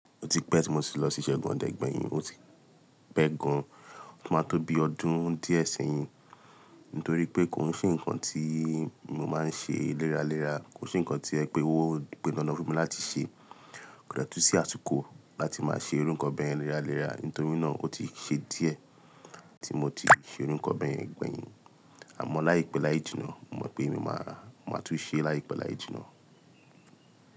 O ti pẹ́ tí mo ti lọ sí ìṣẹ́gun ọdẹ gbẹ̀yìn, ó ti pẹ́ gan-an, ó máa tó bi ọdún díẹ̀ sẹ́yìn. Nítorí pé kò sí nǹkan tí mo máa ń ṣe léraléra, kò n se nǹkan tí o pon dandan fún mi láti ṣe. Kò de tún sí àsiko láti máa ṣe iru nkan bẹ̀ yẹn léraléra, nítorí náà ó ti ṣe díẹ̀ tí mo ti ṣe iru nkan bẹ̀ yẹn gbẹ̀yìn. Àmọ́ láìpẹ́ láì jìnnà, mo mọ̀ pé màá tún ṣe é láìpẹ́ láì jìnnà.